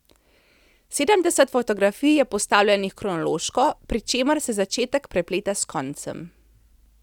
Sedemdeset fotografij je postavljenih kronološko, pri čemer se začetek prepleta s koncem.